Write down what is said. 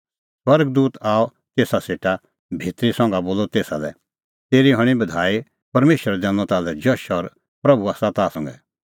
स्वर्ग दूत आअ तेसा सेटा भितरी संघा बोलअ तेसा लै तेरी हणीं बधाई परमेशरै दैनअ ताल्है जश और प्रभू आसा ताह संघै